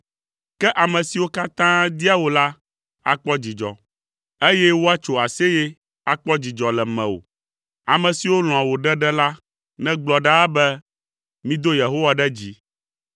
Ke ame siwo katã dia wò la akpɔ dzidzɔ, eye woatso aseye akpɔ dzidzɔ le mewò. Ame siwo lɔ̃a wò ɖeɖe la negblɔ ɖaa be, “Mido Yehowa ɖe dzi!”